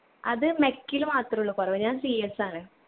അത് mech ല് മാത്രുള്ളു കൊറവ് ഞാൻ CS ആണ്.